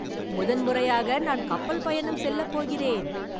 முதன்முறையாக நான் கப்பல் பயணம் செல்லப்போகிறேன்